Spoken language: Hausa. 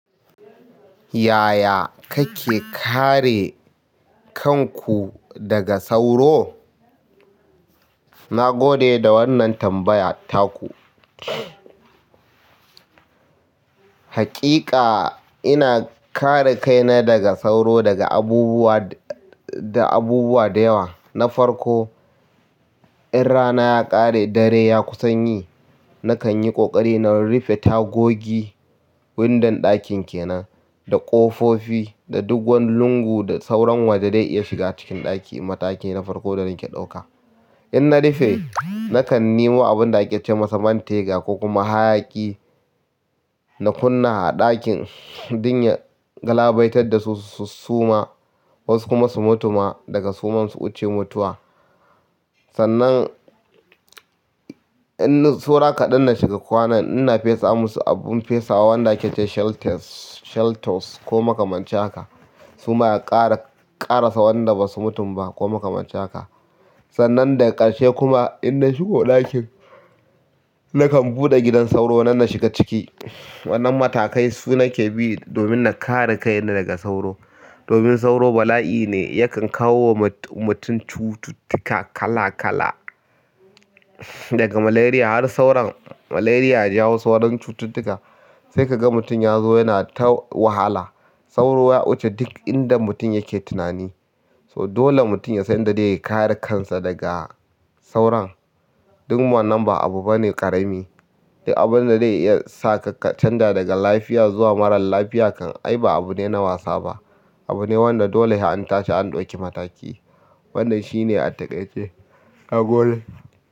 Yaya kake kare kan ku daga sauro? Nagode da wannan tambaya taku. Haƙiƙa ina kare kaina daga sauro da abubuwa da yawa na farko, in rana ya kare dare ya kusan yi, na kan yi ƙoƙari na rufe tagogi windon ɗakin kenan da ƙofofi da dogon lungu da sauran wanda zai iya shiga cikin ɗaki. Mataki na farko da nake ɗauka. In na rufe, na kan nemo abun da ake ce masa man tega ko kuma hayaƙi na kunna a ɗakin don ya galabaitar da su, su suma wasu kuma su mutu ma daga suman su wuce mutuwa. Sannan, in saura kaɗan na shiga kwana, ina fesa musu abin fesawa wanda ake ce shelters, sheltors ko makamancin haka. Kuma a ƙara, ƙarasa wanda basu mutun ba ko makamancin haka. Sannan daga ƙarshe kuma in na shigo ɗakin, na kan buɗe gidan sauro nan na shiga ciki. Wannan matakai su nake bi domin na kare kaina daga sauro. Domin sauro bala'i ne, yakan kawo wa mutum cututtuka kala kala daga malaria har sauran. Malaria ya jawo sauran cututtuka sai ka ga mutum ya zo yana ta wahala. Sauro ya wuce duk inda mutum yake tunani. So dole mutum ya san inda zai kare kansa daga sauran. Duk wannan ba abu bane ƙarami. Abun da zai iya sa ka ka canja daga lafiya zuwa marar lafiya kan ai ba abu ne na wasa ba. Abu ne wanda dole sai an tashi an ɗauki mataki. Wannan shine a takaice. Nagode.